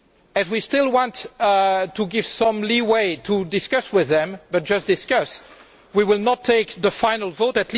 As we still want to give some leeway for discussion with them but just discussion we will not take the final vote.